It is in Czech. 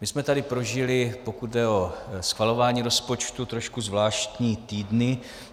My jsme tady prožili, pokud jde o schvalování rozpočtu, trošku zvláštní týdny.